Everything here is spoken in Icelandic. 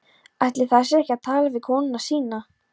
Ætli það sé ekki að tala við konuna sína.